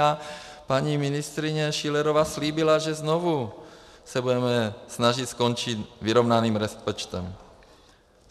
A paní ministryně Schillerová slíbila, že se znovu budeme snažit skončit vyrovnaným rozpočtem.